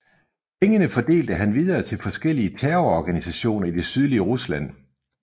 Pengene fordelte han videre til forskellige terrororganisationer i det sydlige Rusland